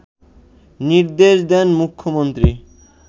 নির্দেশ দেন মুখ্যমন্ত্রী